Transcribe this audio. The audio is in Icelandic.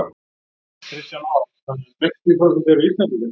Kristján Már: Þannig að sextíu prósent eru Íslendingar?